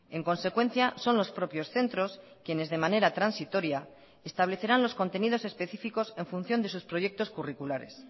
en consecuencia son los propios centros quienes de manera transitoria establecerán los contenidos específicos en función de sus proyectos curriculares